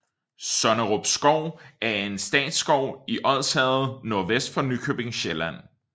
Sonnerup Skov er en statsskov i Odsherred NV for Nykøbing Sjælland